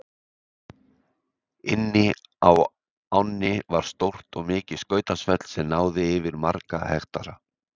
Inni á ánni var stórt og mikið skautasvell sem náði yfir marga hektara.